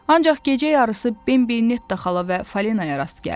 Ancaq gecə yarısı Bembi Netta xala və Falenaya rast gəldi.